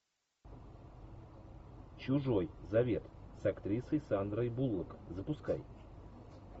чужой завет с актрисой сандрой буллок запускай